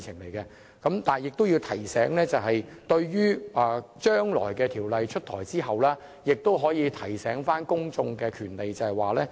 不過我亦要指出，將來在《條例草案》出台後，當局應提醒公眾他們擁有的權利。